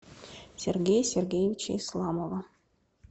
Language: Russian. сергея сергеевича исламова